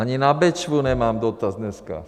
Ani na Bečvu nemám dotaz dneska.